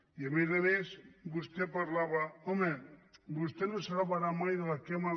i a més a més vostè parlava home vostès no se salvaran mai de la quema